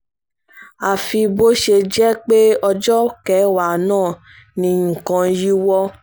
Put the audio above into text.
àfi bó ṣe jẹ́ pé ọjọ́ kẹwàá náà ni nǹkan yíwọ́